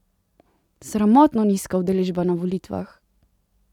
Sramotno nizka udeležba na volitvah!